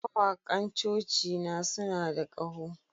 Mawakan cocina suna da ƙaho